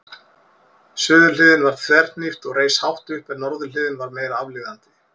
Suðurhliðin var þverhnípt og reis hátt upp en norðurhliðin var meira aflíðandi.